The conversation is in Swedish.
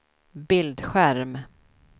bildskärm